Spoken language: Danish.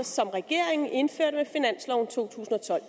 som regeringen indførte med finansloven 2012